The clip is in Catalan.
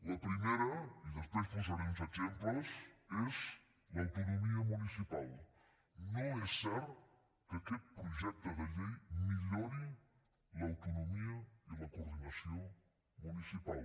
la primera i després en posaré uns exemples és l’autonomia municipal no és cert que aquest projecte de llei millori l’autonomia i la coordinació municipal